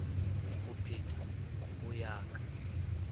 ho petha ho ya ka